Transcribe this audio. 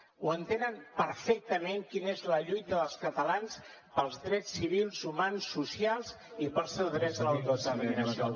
ho entenen perfectament quina és la lluita dels catalans pels drets civils humans socials i pel seu dret a l’autodeterminació